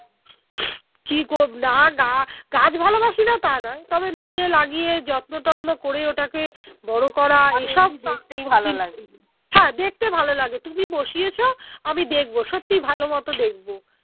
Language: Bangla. কি না গাগাছ ভালোবাসিনা তা নয় তবে নিজে লাগিয়ে যত্ন টত্ন করে ওটাকে বড়ো করা হ্যাঁ দেখতে ভালো লাগে তুমি বসিয়েছো আমি দেখবো সত্যি ভালোমতো দেখব